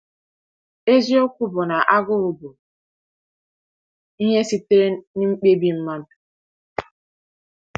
“Eziokwu bụ na agụụ bụ ihe sitere n’mkpebi mmadụ.